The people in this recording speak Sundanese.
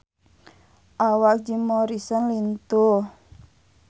Awak Jim Morrison lintuh